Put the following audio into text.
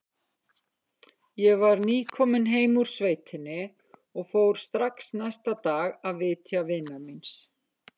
Ég var nýkominn heim úr sveitinni og fór strax næsta dag að vitja vinar míns.